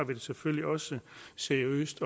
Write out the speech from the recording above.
det selvfølgelig også seriøst